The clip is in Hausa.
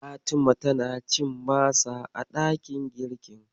Fatima tana cin masa a ɗakin girkin.